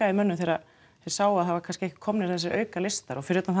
í mönnum þegar þeir sáu að það var kannski eitthvað komnir þessir auka listar og fyrir utan